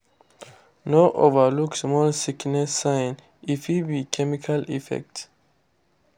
no overlook small sickness sign—e fit be chemical effect.